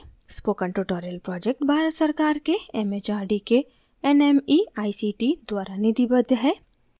spoken tutorial project Bharat सरकार के mhrd के nmeict द्वारा निधिबद्ध है